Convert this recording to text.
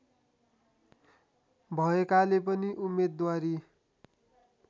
भएकाले पनि उम्मेदवारी